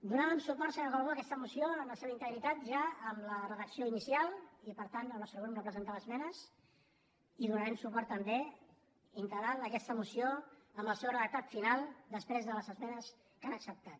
donàvem suport senyor calbó a aquesta moció en la seva integritat ja amb la redacció inicial i per tant el nostre grup no presentava esmenes i donarem suport també integral a aquesta moció amb el seu redactat final després de les esmenes que han acceptat